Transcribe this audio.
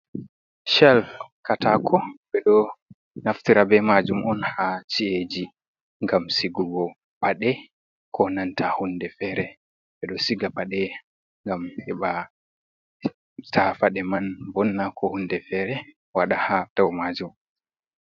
"Chel katako" ɓeɗo naftira bei maajum on ha chi’eji ngam sigugo paɗe ko nanta hunde fere. Ɓedo siga paɗe ngam heɓa ta paɗe man vonna ko hunde fere waɗa ha dau majum.